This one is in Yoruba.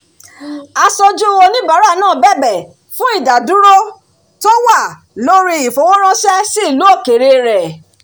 asoju onibaara náà bẹ̀bẹ̀ fún ìdádúró tó wà lórí ifowóránṣẹ́ si ìlú òkèèrè rẹ̀